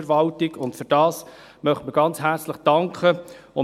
Dafür möchten wir ganz herzlich danken.